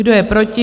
Kdo je proti?